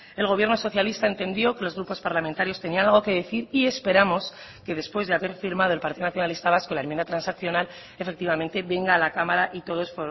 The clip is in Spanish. el gobierno socialista entendió que los grupos parlamentarios tenían algo que decir y esperamos que después de haber firmado el partido nacionalista vasco la enmienda transaccional efectivamente venga a la cámara y todos